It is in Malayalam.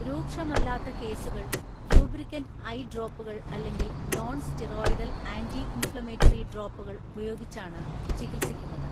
രൂക്ഷമല്ലാത്ത കേസുകൾ ലൂബ്രിക്കന്റ് ഐ ഡ്രോപ്പുകൾ അല്ലെങ്കിൽ നോൺ സ്റ്റിറോയിഡൽ ആൻറി ഇൻഫ്ലമേറ്ററി ഡ്രോപ്പുകൾ ഉപയോഗിച്ചാണ് ചികിത്സിക്കുന്നത്.